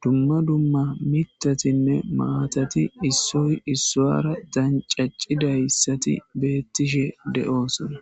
dumma dumma mitatinne maatati issoy issaara dancaccidayssati beettishe de7oo sona